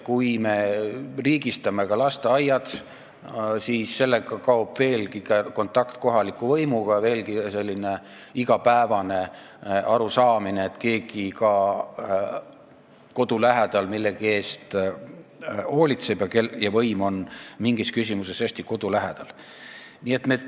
Kui me riigistame ka lasteaiad, siis jääb kontakt kohaliku võimuga väiksemaks, kipub kaduma igapäevane arusaamine, et keegi ka kodu lähedal millegi eest hoolitseb, et võim on mingis küsimuses hästi kodu lähedal.